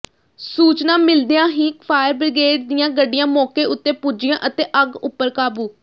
ਸੂਚਨਾ ਮਿਲਦਿਆਂ ਹੀ ਫਾਇਰ ਬ੍ਰਿਗੇਡ ਦੀਆਂ ਗੱਡੀਆਂ ਮੌਕੇ ਉਤੇ ਪੁੱਜੀਆਂ ਅਤੇ ਅੱਗ ਉਪਰ ਕਾਬੂ